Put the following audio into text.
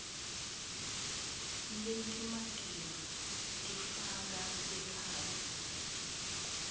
letimatima tifaka ekhatsi